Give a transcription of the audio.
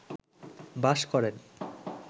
বাস করেন